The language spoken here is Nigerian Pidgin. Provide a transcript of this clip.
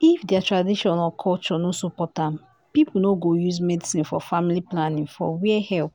if their tradition or culture no support am people no go use medicine for family planning for where help